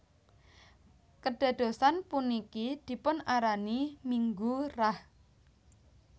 Kedadosan puniki dipun arani Minggu Rah